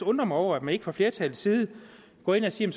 undre mig over at man ikke fra flertallets side går ind og siger